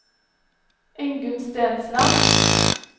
Ingunn Stensland